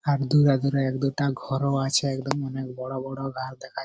এক দুটা ঘরও আছে একদম অনেক বড়ো বড়ো গাছ দেখায়।